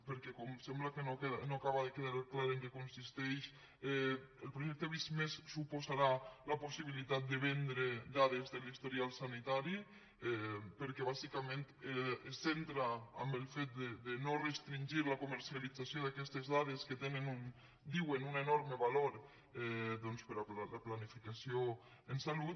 perquè com sembla que no acaba de quedar clar en què consisteix el projecte visc+ suposarà la possibilitat de vendre dades de l’historial sanitari perquè bàsicament es centra en el fet de no restringir la comercialització d’aquestes dades que tenen diuen un enorme valor per a la planificació en salut